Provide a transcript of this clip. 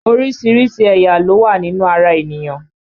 Orísìírísìí ẹ̀yà ló wá nínú ara ènìyàn